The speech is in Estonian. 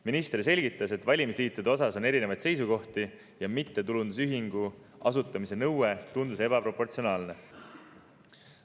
Minister selgitas, et valimisliitude kohta on erinevaid seisukohti ja mittetulundusühingu asutamise nõue tundus ebaproportsionaalne.